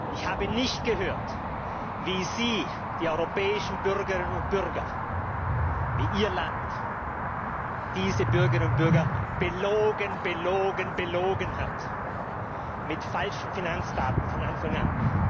Ich habe nicht gehört, wie Sie die europäischen Bürgerinnen und Bürger, wie Ihr Land diese Bürgerinnen und Bürger belogen, belogen, belogen hat mit falschen Finanzdaten von Anfang an.